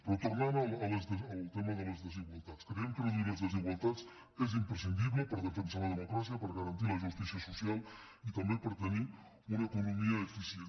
però tornant al tema de les desigualtats creiem que reduir les desigualtats és imprescindible per defensar la democràcia per garantir la justícia social i també per tenir una economia eficient